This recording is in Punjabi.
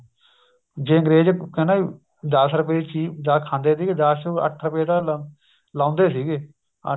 ਜੇ ਅੰਗਰੇਜ ਕਹਿੰਦਾ ਵੀ ਦਸ ਰੁਪਏ ਦੀ ਚੀਜ ਜਾ ਖਾਂਦੇ ਸੀਗੇ ਦਸ ਚੋ ਅੱਠ ਰੁਪਏ ਤਾਂ ਲਾਉਂਦੇ ਸੀਗੇ ਅੱਠ